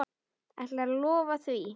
Ætlarðu að lofa því?